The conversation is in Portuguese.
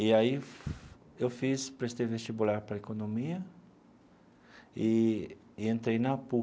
E aí eu fiz prestei vestibular para a economia e e entrei na PUC.